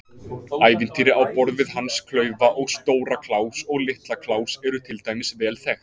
Ævintýri á borð við Hans klaufa og Stóra-Kláus og Litla-Kláus eru til dæmis vel þekkt.